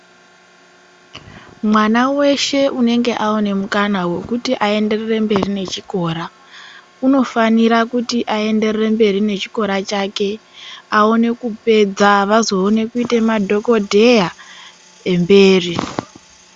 Mwana weshe unenge awone mukana wekuti ayenderere mberi nechikora, unofanira kuti ayenderere mberi nechikora chake, awone kupedza vazoona kuite madhokodheya emberi.